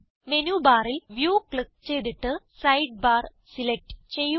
menu ബാറിൽ view click ചെയ്തിട്ട് sidebar select ചെയ്യുക